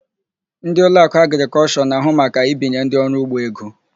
Ndị Ụlọakụ Agrịkọlshọ na-ahụ maka ibinye ndị ọrụugbo ego.